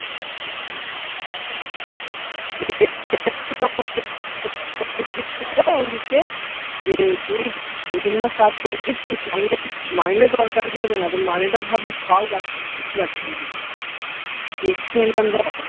অঞ্চিতকে যে তুই দু তিন মাস কাজ করবি তুই তোর মাইনের দরকার ই পড়বে না তুই মাইনে টা ভাববি ফাউ পাচ্ছিস extra income যা হয়